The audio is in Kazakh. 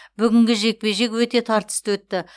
бүгінгі жекпе жек өте тартысты өтті